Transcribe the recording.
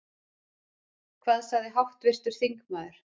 Hvað sagði háttvirtur þingmaður?